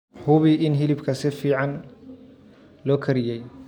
Hubi in hilibka si fiican loo kariyey.